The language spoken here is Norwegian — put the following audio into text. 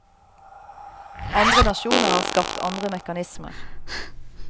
Andre nasjoner har skapt andre mekanismer.